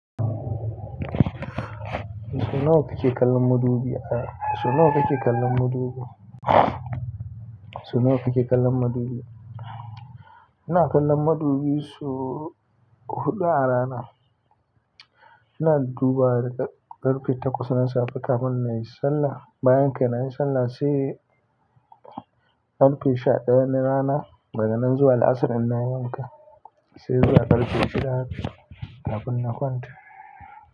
So nawa kake kallon madubi? So nawa kike kallon madubi? So nawa kike kallon madubi? Ina kallon madubi so huɗu a rana. Ina duba daga ƙarfe takwas na safe kafin na yi sallah. Bayan kai nayi sallah sai ƙarfe sha ɗaya na rana. Daga nan zuwa la'asar in nayi wanka, sai zuwa ƙarfe shida kafin na kwanta.